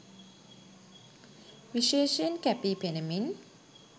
විශේෂයෙන් කැපී පෙනෙමින්